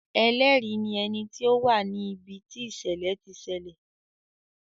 Ẹlẹ́rìí ní ẹni tí ó wà ní ibi tí ìṣẹ̀lẹ̀ ti ṣẹlẹ̀.